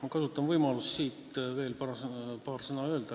Ma kasutan võimalust veel paar sõna öelda.